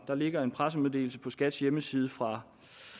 der ligger en pressemeddelelse på skats hjemmeside fra